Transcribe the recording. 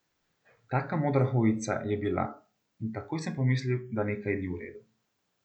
Taka modra hojica je bila in takoj sem pomislil, da nekaj ni vredu.